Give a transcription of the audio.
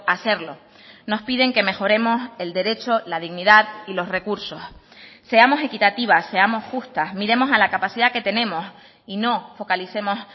hacerlo nos piden que mejoremos el derecho la dignidad y los recursos seamos equitativas seamos justas miremos a la capacidad que tenemos y no focalicemos